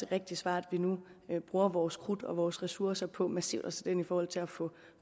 rigtig smart at vi nu bruger vores krudt og vores ressourcer på massivt at sætte ind i forhold til at få